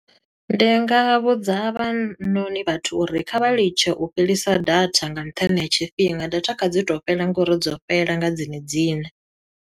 Ndi nga vhudza havhanoni vhathu uri, kha vha litshe u fhelisa data nga nṱhani ha tshifhinga data kha dzi to fhela ngo uri dzo fhela nga dzine dziṋe.